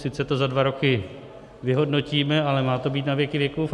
Sice to za dva roky vyhodnotíme, ale má to být na věky věkův.